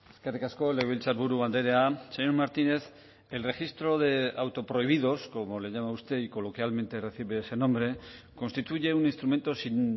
eskerrik asko legebiltzarburu andrea señor martínez el registro de autoprohibidos como le llama usted y coloquialmente recibe ese nombre constituye un instrumento sin